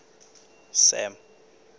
sam